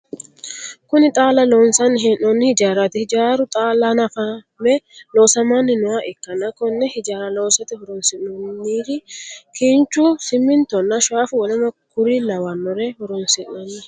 Kunni xaala loonsanni hee'noonni hijaaraati. Hijaaru xaala hannafame loosamanni nooha ikanna Konne hijaara loosate horoonsi'noonniri kinchu, simintonna shaafu woleno kuri lawanore horoonsi'nanni.